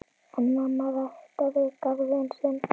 En amma ræktaði garðinn sinn.